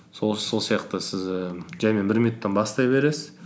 сол сияқты сіз ііі жаңағы бір минуттан бастай береіз